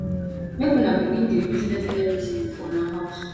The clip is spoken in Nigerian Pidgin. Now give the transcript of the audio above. make una begin dey use less electricity for una house